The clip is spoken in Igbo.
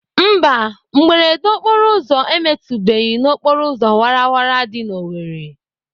Mba, mberede okporoụzọ emetụbeghị n'okporoụzọ wara wara dị n'Owerri.